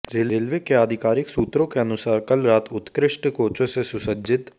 railway के आधिकारिक सूत्रों के अनुसार कल रात उत्कृष्ट कोचों से सुसज्जित